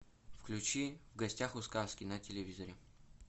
включи в гостях у сказки на телевизоре